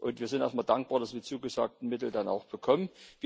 Und wir sind auch mal dankbar, dass wir die zugesagten Mittel dann auch bekommen.